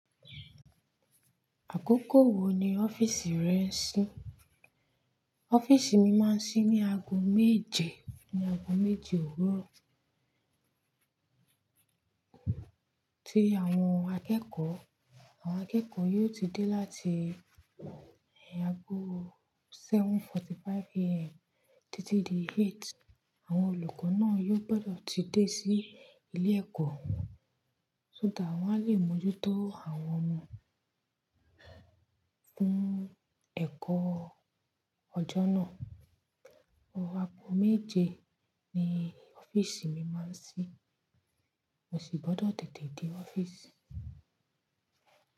Àkókò wo ni ọ́fíìsì rẹ ń ṣí? Ọ́fíìsì mi máa ń ṣí ní ago méje, ní ago méje òwúrọ̀. Tí àwọn akẹ́kọ̀ọ́, àwọn akẹ́kọ̀ọ́ yóò ti dé láti ago 7:45 AM títí di 8. Àwọn olùkọ́ náà yóò gbọ́dọ̀ ti dé sí ilé ẹ̀kọ́, só that wọ́n á lè mójútó àwọn ọmọ fún ẹ̀kọ́ ọjọ́ náà. Àgo méje ni ọ́fíìsì mi máa ń ṣí, mo sì gbọ́dọ̀ tètè dé ọ́fíìsì.